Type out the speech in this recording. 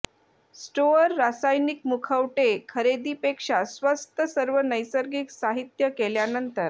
store रासायनिक मुखवटे खरेदी पेक्षा स्वस्थ सर्व नैसर्गिक साहित्य केल्यानंतर